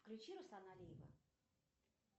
включи руслана алиева